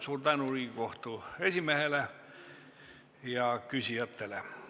Suur tänu Riigikohtu esimehele ja küsijatele!